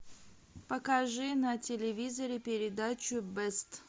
покажи на телевизоре передачу бест